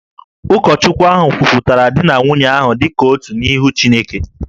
Ụkọchukwu ahụ kwupụtara di na nwunye ahụ dị ka otu n’ihu Chineke